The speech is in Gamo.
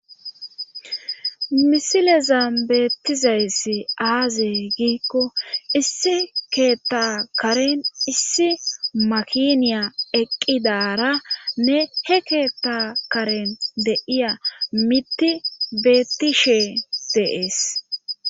misileza beettizayssi aazey giikko issi keeta karen issi makiniya eqqidara ne he keetta karen deiya mitti beettishe deees